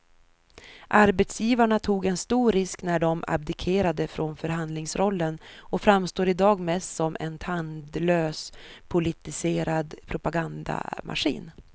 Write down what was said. Arbetsgivarna tog en stor risk när de abdikerade från förhandlingsrollen och framstår i dag mest som en tandlös politiserad propagandamaskin.